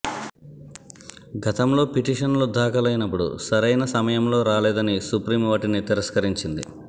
గతంలో పిటిషన్లు దాఖలైనప్పుడు సరైన సమయంలో రాలేదని సుప్రీం వాటిని తిరస్కరించింది